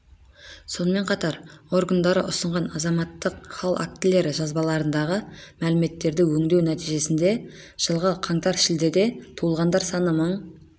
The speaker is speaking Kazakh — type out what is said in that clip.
сонымен қатар органдары ұсынған азаматтық хал актілері жазбаларындағы мәліметтерді өңдеу нәтижесінде жылғы қаңтар-шілдеде туылғандар саны мың